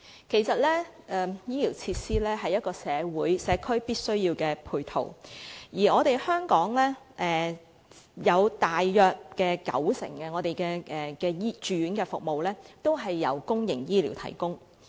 其實，醫療設施是社區的必要配套，而香港大約有九成的住院服務由公營醫療系統提供。